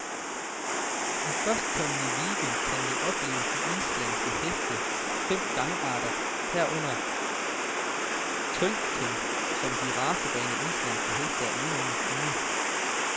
I førstkommende weekend gang kan man opleve de islandske hestes fem gangarter, herunder tølten, som de racerene, islandske heste er ene om at kunne.